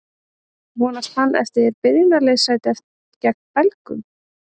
Vonast hann eftir byrjunarliðssæti gegn Belgum?